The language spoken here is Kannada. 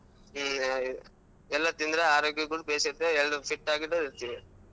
ಎಲ್ಲಾ ತಿಂದ್ರೆ ಆರೋಗ್ಯಕ್ ಕೂಡಾ ಭೇಷ್ ಇರ್ತದ ಎಲ್ಲಾ fit ಆಗಿ ಕೂಡಾ ಇರ್ತೀವಿ.